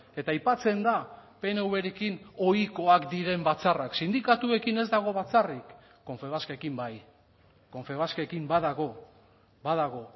eta aipatzen da pnvrekin ohikoak diren batzarrak sindikatuekin ez dago batzarrik confebaskekin bai confebaskekin badago badago